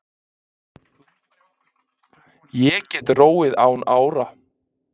Ég get róið án ára.